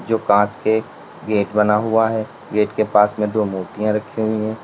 जो कांच के गेट बना हुआ है गेट के पास में दो मूर्तियां रखी हुई है।